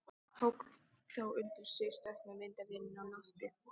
Tók þá undir sig stökk með myndavélina á lofti.